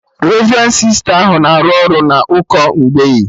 Revrendi Sista ahụ na-arụ ọrụ na ụkọ mgbei